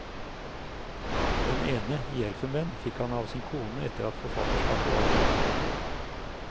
Den ene, i elfenben, fikk han av sin kone etter at forfatterskapet var et faktum.